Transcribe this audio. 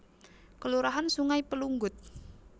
Kelurahan Sungai Pelunggut